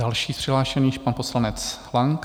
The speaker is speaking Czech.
Další z přihlášených - pan poslanec Lang.